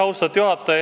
Austatud juhataja!